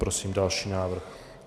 Prosím další návrh.